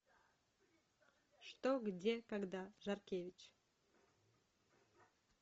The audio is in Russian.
что где когда жаркевич